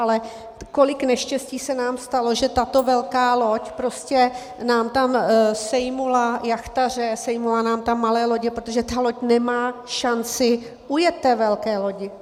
Ale kolik neštěstí se nám stalo, že tato velká loď prostě nám tam sejmula jachtaře, sejmula nám tam malé lodě, protože ta loď nemá šanci ujet té velké lodi.